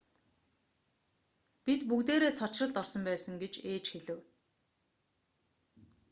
бид бүгдээрээ цочролд орсон байсан гэж ээж хэлэв